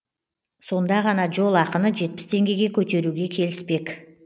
сонда ғана жол ақыны жетпіс теңгеге көтеруге келіспек